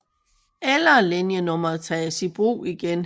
Eller linjenummeret tages i brug igen